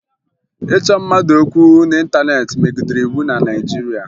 Ịchọ mmadụ okwu n'ịntaneetị megidere iwu na Naịjirịa